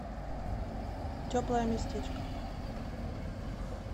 теплое местечко